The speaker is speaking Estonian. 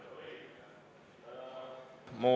Head kolleegid!